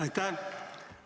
Aitäh!